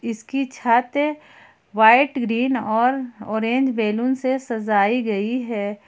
इसकी छत white green और ऑरेंज बैलून से सजाई गई है।